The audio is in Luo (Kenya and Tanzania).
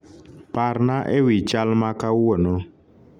parna ewi chal ma kawuono